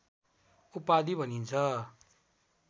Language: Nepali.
उपाधि भनिन्छ